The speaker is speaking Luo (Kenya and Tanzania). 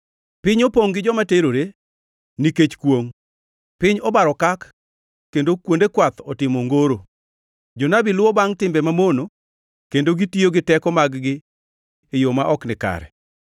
Piny opongʼ gi joma terore; nikech kwongʼ, piny obaro okak kendo kuonde kwath otimo ongoro. Jonabi luwo bangʼ timbe mamono kendo gitiyo gi teko mag-gi e yo ma ok nikare.